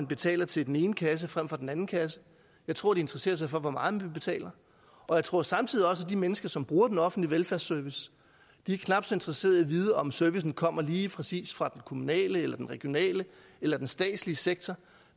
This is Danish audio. betaler til den ene kasse frem for den anden kasse jeg tror de interesserer sig for hvor meget de betaler og jeg tror samtidig også at de mennesker som bruger den offentlige velfærdsservice er knap så interesseret i at vide om servicen kommer lige præcis fra den kommunale eller den regionale eller den statslige sektor